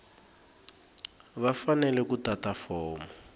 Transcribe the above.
va fanele ku tata fomo